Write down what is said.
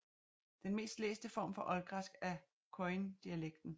Den mest læste form for oldgræsk er koiné dialekten